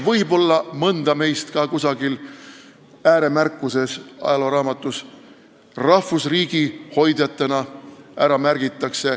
Võib-olla märgitakse mõnda meist ära ka kusagil ajalooraamatu ääremärkustes rahvusriigi hoidjatena.